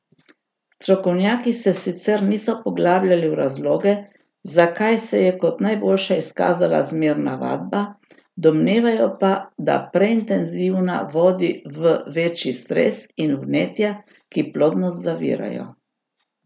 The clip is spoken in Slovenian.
Strokovnjaki se sicer niso poglabljali v razloge, zakaj se je kot najboljša izkazala zmerna vadba, domnevajo pa, da preintenzivna vodi v večji stres in vnetja, ki plodnost zavirajo.